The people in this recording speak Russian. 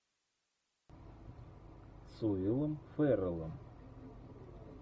с уиллом ферреллом